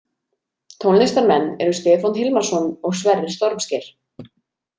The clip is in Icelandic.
Tónlistarmenn eru Stefán Hilmarsson og Sverrir Stormsker.